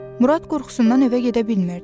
Murad qorxusundan evə gedə bilmirdi.